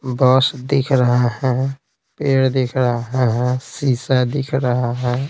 बस दिख रहे हैं पेड़ दिख रहा हैं शीशा दिख रहा है।